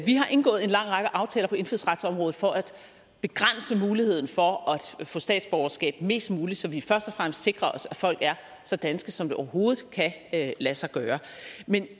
vi har indgået en lang række aftaler på indfødsretsområdet for at begrænse muligheden for at få statsborgerskab mest muligt så vi først og fremmest sikrer os at folk er så danske som det overhovedet kan lade sig gøre men